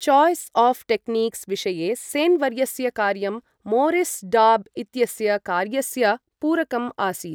Choice of techniques' विषये सेन् वर्यस्य कार्यं मौरिस् डॉब् इत्यस्य कार्यस्य पूरकम् आसीत्।